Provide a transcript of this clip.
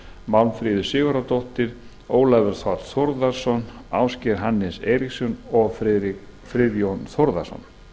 málmfríður sigurðardóttir ólafur þ þórðarson ásgeir hannes eiríksson og friðjón þórðarson